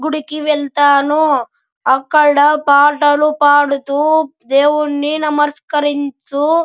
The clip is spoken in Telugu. గుడికి వెళ్తాను అక్కడ పాటలు పాడుతూ దేవున్ని నమస్కరిస్తూ --